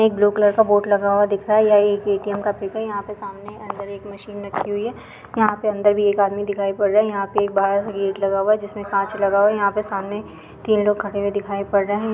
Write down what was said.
एक blue colour का board लगा हुआ दिख रहा है या ये एक एटीएम (ATM) का पीक है यहा पे सामने अंदर एक मशीन रखी हुई है यहा पे अंदर एक आदमी भी दिखाई पड रहा है यहा पे बाहर गेट लगा हुआ है बाहर इसमे काँच लगा हुआ है यहा पर सामने तीन लोग खड़े हुए दिखाई पड रहे है।